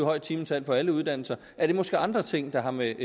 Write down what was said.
højt timetal på alle uddannelser er det måske andre ting der har med